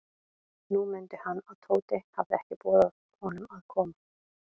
Nú mundi hann, að Tóti hafði ekki boðið honum að koma.